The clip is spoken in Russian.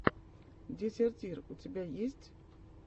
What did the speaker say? дезертир у тебя есть